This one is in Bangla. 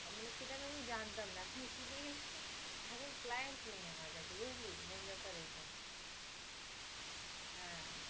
অমনি সেটা আমি জানতাম না, এখন শিখে গেছি। এখন client নেই আমার কাছে বুঝলি? main ব্যাপার এইটা। হ্যাঁ